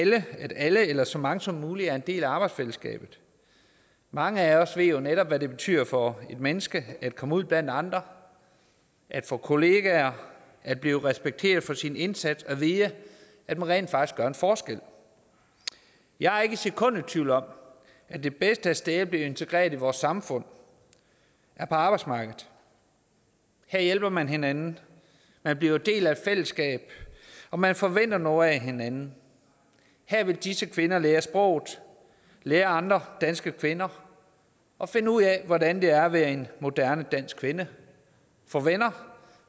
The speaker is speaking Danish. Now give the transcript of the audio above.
at alle eller så mange som muligt er en del af arbejdsfællesskabet mange af os ved jo netop hvad det betyder for et menneske at komme ud blandt andre at få kollegaer at blive respekteret for sin indsats og vide at man rent faktisk gør en forskel jeg er ikke et sekund i tvivl om at det bedste sted at blive integreret i vores samfund er på arbejdsmarkedet her hjælper man hinanden man bliver en del af et fællesskab og man forventer noget af hinanden her vil disse kvinder lære sproget lære af andre danske kvinder og finde ud af hvordan det er at være en moderne dansk kvinde få venner